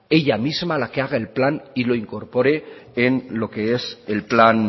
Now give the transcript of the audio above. ella misma la que haga el plan y lo incorpore en lo que es el plan